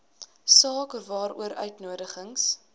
saak waaroor uitnodigings